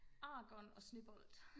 argon og snebold